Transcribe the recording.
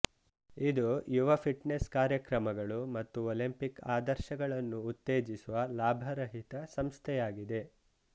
ಇದು ಯುವ ಫಿಟ್ನೆಸ್ ಕಾರ್ಯಕ್ರಮಗಳು ಮತ್ತು ಒಲಂಪಿಕ್ ಆದರ್ಶಗಳನ್ನು ಉತ್ತೇಜಿಸುವ ಲಾಭರಹಿತ ಸಂಸ್ಥೆಯಾಗಿದೆ